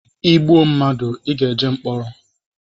Ị gbụọ madụ ị ga-eje mkpọrọ